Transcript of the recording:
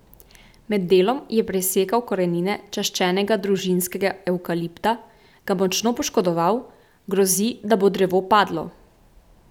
Med delom je presekal korenine čaščenega družinskega evkalipta, ga močno poškodoval, grozi, da bo drevo padlo.